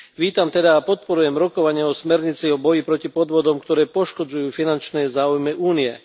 Vítam teda a podporujem rokovania o smernici o boji proti podvodom, ktoré poškodzujú finančné záujmy Únie.